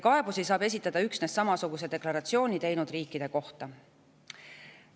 Kaebusi saab esitada üksnes samasuguse deklaratsiooni teinud riikide kohta.